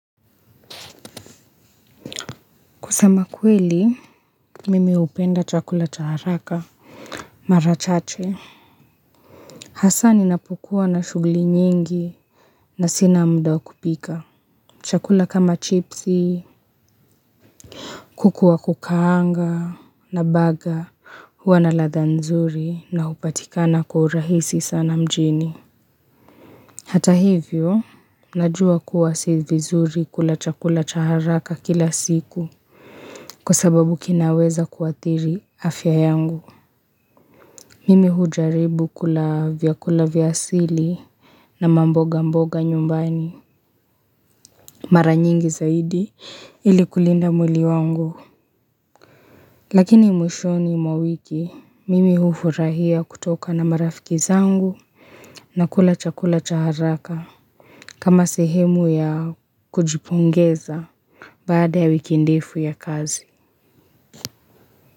Kusema kweli, mimi hupenda chakula cha haraka. Mara chache. Hassa ninapokua na shuguli nyingi na sina muda wa kupika. Chakula kama chipsi, kuku wa kukaanga na baga. Huwa na ladhaa nzuri na hupatikana kwa urahisi sana mjini. Hata hivyo, najua kuwa si vizuri kula chakula cha haraka kila siku. Kwa sababu kinaweza kuathiri afya yangu. Mimi hujaribu kula vyakula vya asili na mboga mboga nyumbani Mara nyingi zaidi ili kulinda mwili wangu Lakini mwishoni mwa wiki mimi hufurahia kutoka na marafiki zangu na kula chakula cha haraka kama sehemu ya kujipongeza baada ya wiki ndefu ya kazi.